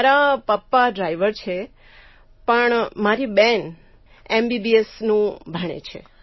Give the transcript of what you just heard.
મારા પપ્પા ડ્રાઇવર છે પણ મારી બહેન એમબીબીએસનું ભણે છે